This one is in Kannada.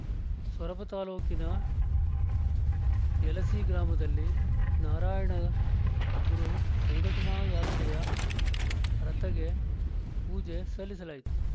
ಸೊರಬ ತಾಲೂಕಿನ ಯಲಸಿ ಗ್ರಾಮದಲ್ಲಿ ನಾರಾಯಣಗುರು ಸಂಘಟನಾ ಯಾತ್ರೆಯ ರಥಗೆ ಪೂಜೆ ಸಲ್ಲಿಸಲಾಯಿತು